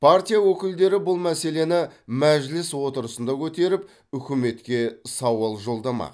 партия өкілдері бұл мәселені мәжіліс отырысында көтеріп үкіметке сауал жолдамақ